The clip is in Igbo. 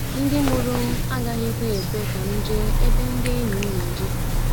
Ndị mụrụ m agaghịkwa ekwe ka m jee ebe ndị enyi m na-eje.